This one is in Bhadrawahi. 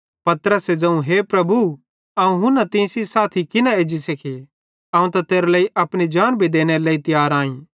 पतरसे ज़ोवं हे प्रभु अवं हुना तीं सेइं साथी किना एज्जी सेखी अवं त तेरे लेइ अपनी जान भी देनेरे लेइ तियार आई